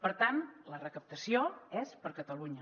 per tant la recaptació és per a catalunya